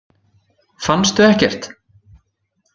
Fannstu ekkert?